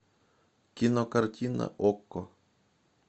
кинокартина окко